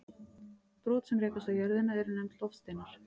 Brot sem rekast á jörðina eru nefnd loftsteinar.